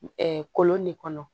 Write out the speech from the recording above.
kolon de kɔnɔ